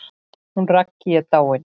Hún Raggý er dáin.